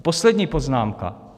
A poslední poznámka.